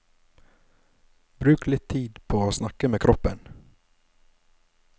Bruk litt tid på å snakke med kroppen.